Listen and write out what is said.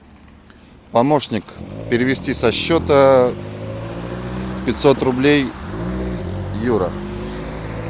помощник перевести со счета пятьсот рублей юра